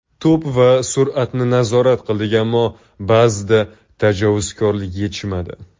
To‘p va sur’atni nazorat qildik, ammo ba’zida tajovuzkorlik yetishmadi.